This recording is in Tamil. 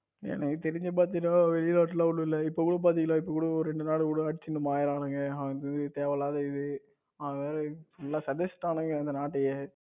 உம் எனக்கு தெரிஞ்சு பாத்தீங்கன்னா வெளிநாட்டுல ஒன்னும் இல்ல இப்ப கூட பாத்தீங்கன்னா இப்ப கூட ஒரு ரெண்டு நாளு ஊழலாச்சின்னு மாற்றாங்க அது தேவையில்லாதது இது நல்லா செதச்சிட்டாங்க இந்த நாட்டையே